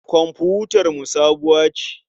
Komfutarmu sabuwa ce.